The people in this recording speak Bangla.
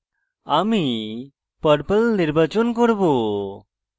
আমি purple নির্বাচন করব